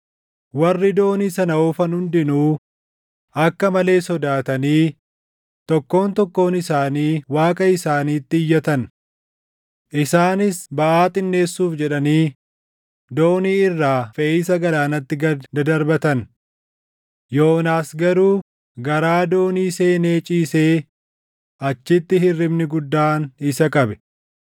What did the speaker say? Warri doonii sana oofan hundinuu akka malee sodaatanii tokkoon tokkoon isaanii waaqa isaaniitti iyyatan. Isaanis baʼaa xinneessuuf jedhanii doonii irraa feʼiisa galaanatti gad dadarbatan. Yoonaas garuu garaa doonii seenee ciisee achitti hirribni guddaan isa qabe.